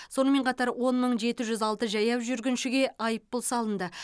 сонымен қатар он мың жеті жүз алты жаяу жүргіншіге айыппұл салынды